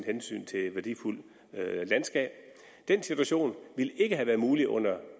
hensyn til værdifuldt landskab den situation ville ikke have været mulig under